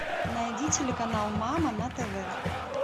найди телеканал мама на тв